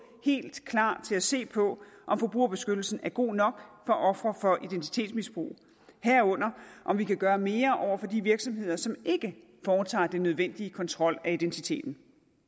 helt klar til at se på om forbrugerbeskyttelsen er god nok for ofre for identitetsmisbrug herunder om vi kan gøre mere over for de virksomheder som ikke foretager den nødvendige kontrol af identiteten